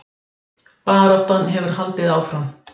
Baráttan hefur haldið áfram